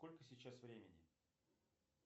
сколько сейчас времени